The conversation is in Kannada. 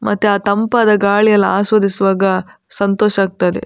ಮತ್ತೆ ಆ ತಂಪಾದ ಗಾಳಿ ಎಲ್ಲ ಆಸ್ವಾದಿಸುವಾಗ ಸಂತೋಷ ಆಗ್ತದೆ.